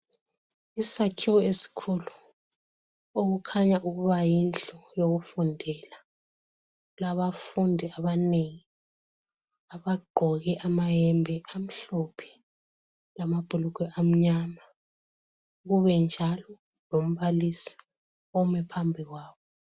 Isakhiwo esikhulu okukhanya yindlu yokufundela. Kulawafundi abanengi abagqoke amahembe amhlophe, amabhulugwe amnyama. Kube njalo lombalisi omi phambi kwabo.